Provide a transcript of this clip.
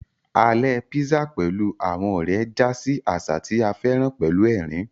Alè písà pẹ̀lú àwọn ọ̀rẹ́ já sí àṣà tí a féràn pẹ̀lú ẹ̀rín